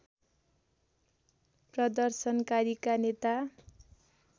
प्रदर्शनकारीका नेता